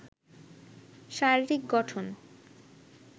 শারীরিক গঠন